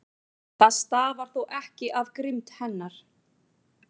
Það stafar þó ekki af grimmd hennar.